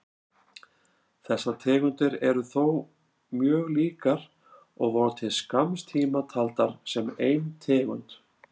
Þessar tegundir eru þó mjög líkar og voru til skamms tíma taldar sem ein tegund.